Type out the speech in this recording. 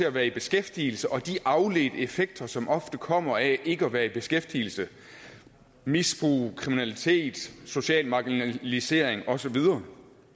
at være i beskæftigelse og de afledte effekter som ofte kommer af ikke at være i beskæftigelse misbrug kriminalitet social marginalisering og så videre